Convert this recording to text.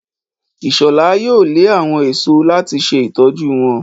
Ishola yóò lẹ àwọn èso láti se ìtọjú wón.